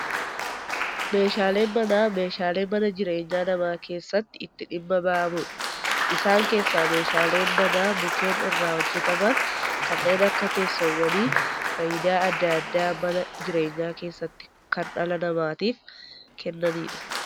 Meeshaaleen manaa meeshaalee mana jireenyaa namaa keessatti itti dhimma bahamudha. Isaan keessaa meeshaaleen manaa mukkeen irraa hojjetaman kanneen akka teessoowwanii fayidaa addaa addaa mana jireenyaa keessatti kan dhala namatiif kennanidha.